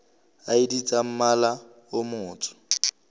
id tsa mmala o motsho